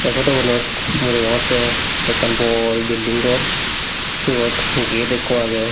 ei photogunot mui degongottey ekkan bor building gor siyot gate ikko agey.